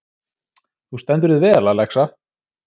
Þú stendur þig vel, Alexa!